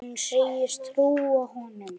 Hún segist trúa honum.